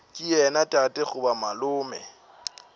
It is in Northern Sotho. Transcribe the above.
ke yena tate goba malome